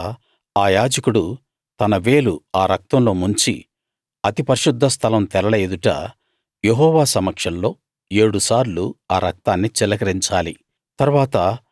తరువాత ఆ యాజకుడు తన వేలు ఆ రక్తంలో ముంచి అతి పరిశుద్ధ స్థలం తెరల ఎదుట యెహోవా సమక్షంలో ఏడుసార్లు ఆ రక్తాన్ని చిలకరించాలి